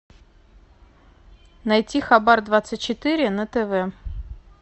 найти хабар двадцать четыре на тв